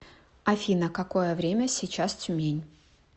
афина какое время сейчас тюмень